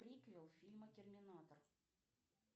приквел фильма терминатор